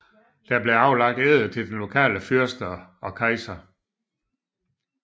Der blev aflagt ed til den lokale fyrste og kejseren